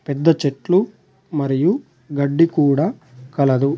పెద్ద చెట్లు మరియు గడ్డి కూడా కలదు